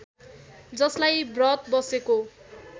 जसलाई ब्रत बसेको